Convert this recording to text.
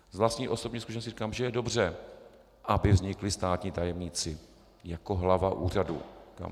Z vlastní osobní zkušenosti říkám, že je dobře, aby vznikli státní tajemníci jako hlava úřadu.